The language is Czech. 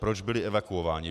Proč byli evakuováni.